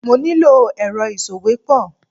Mo ní lò èrọ ìsòwépọ̀.